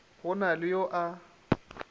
go na le yo a